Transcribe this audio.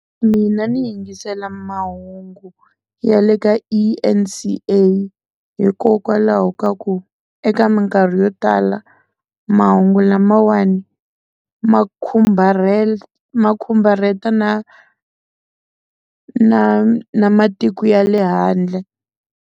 Mina ni yingisela mahungu ya le ka E_N_C_A hikokwalaho ka ku eka minkarhi yo tala mahungu lamawani ma khumbala ma khumbareta na na na matiko ya le handle.